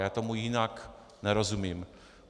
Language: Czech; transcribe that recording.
Já tomu jinak nerozumím.